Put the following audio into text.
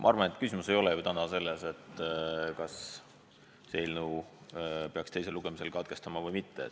Ma arvan, et küsimus ei ole täna selles, kas selle eelnõu menetluse peaks teisel lugemisel katkestama või mitte.